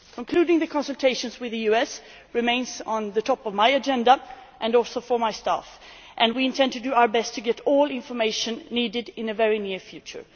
Concluding the consultations with the US remains on the top of my agenda and also for my staff and we intend to do our best to get all information needed in the very near future.